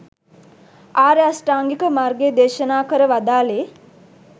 ආර්ය අෂ්ටාංගික මාර්ගය දේශනා කර වදාළේ